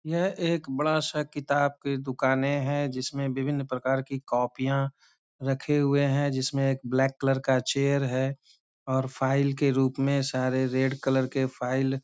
यह एक बड़ा सा किताब के दुकाने हैं जिसमें विभिन्न प्रकार की कॉपियाँ रखे हुए हैं। जिसमें एक ब्लैक कलर का चेयर है और फाइल के रूप में सारे रेड कलर के फाइल --